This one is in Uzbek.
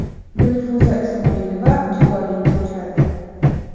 Dilfuza Ismoilova judolikka uchradi.